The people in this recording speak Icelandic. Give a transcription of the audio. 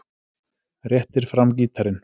Réttir fram gítarinn.